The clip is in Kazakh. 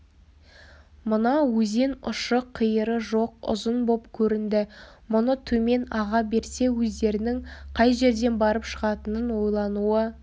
мына өзен ұшы-қиыры жоқ ұзын боп көрінді мұны төмен аға берсе өздерінің қай жерден барып шығатынын ойлануы